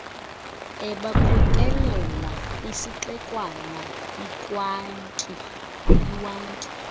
ebakhokelela kwisixekwana iwankie